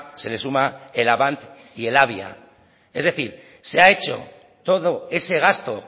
se le suma el avant y el alvia es decir se ha hecho todo ese gasto